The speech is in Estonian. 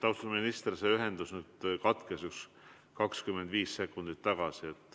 Austatud minister, ühendus katkes 25 sekundit tagasi.